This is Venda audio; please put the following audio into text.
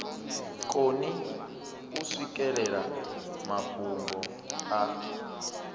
koni u swikelela mafhungo a